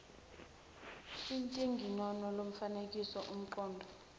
intinginono lomfanekiso unomqondo